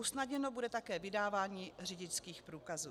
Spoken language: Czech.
Usnadněno bude také vydávání řidičských průkazů.